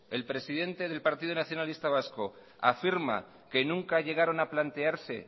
el presidente el partido nacionalista vasco afirma que nunca llegaron a plantearse